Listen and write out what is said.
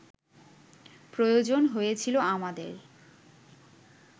প্রয়োজন হয়েছিল আমাদের